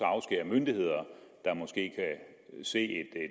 myndigheder der måske kan se